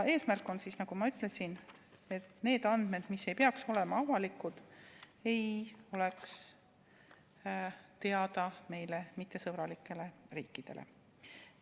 Eesmärk on, nagu ma ütlesin, et need andmed, mis ei pea olema avalikud, ei oleks teada meie suhtes mittesõbralikele riikidele.